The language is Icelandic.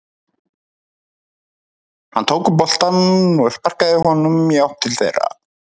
Hann tók upp boltann og sparkaði honum í átt til þeirra.